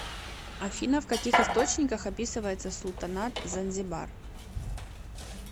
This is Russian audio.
афина в каких источниках описывается султанат занзибар